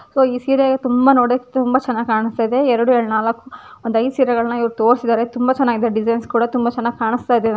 ಸಂಗೀತ ಇದೆ. ತುಂಬಾ ನೋಡೋಕೆ ತುಂಬಾ ಚೆನ್ನಾಗಿ ಕಾಣುತ್ತದೆ. ಇಪ್ಪತ್ತನಾಲ್ಕು ಸಾವಿರದ ನೂರ ಐವತ್ತೆರಡು. ತೋರಿಸಿದರೆ ತುಂಬಾ ಚೆನ್ನಾಗಿ ಡಿಸೈನ್ ಕೂಡ ತುಂಬಾ ಚೆನ್ನಾಗಿ ಕಾಣುತ್ತಿದ್ದರು.